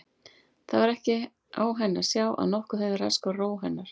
Það var ekki á henni að sjá að nokkuð hefði raskað ró hennar.